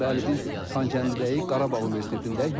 Bəli, biz Xankəndidəyik, Qarabağ Universitetindəyik.